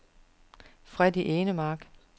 Freddie Enemark